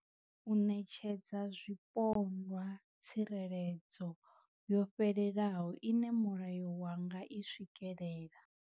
U ṋetshedza zwipondwa tsireledzo yo fhelelaho ine mulayo wa nga i swikelela.